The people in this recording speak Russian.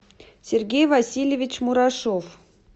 сергей васильевич мурашов